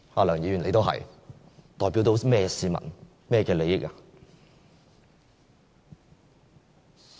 梁議員，你也是，你代表甚麼市民、甚麼利益呢？